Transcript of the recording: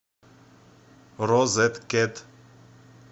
розет кет